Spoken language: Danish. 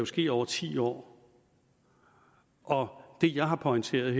ske over ti år og det jeg har pointeret